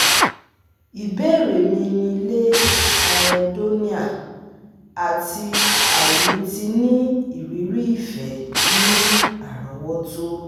Ibeere mi ni le anhedonia ati aini ti ni iriri ifẹ ni arowoto